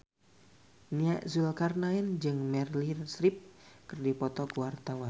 Nia Zulkarnaen jeung Meryl Streep keur dipoto ku wartawan